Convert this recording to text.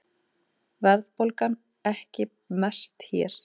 Verðbólgan ekki mest hér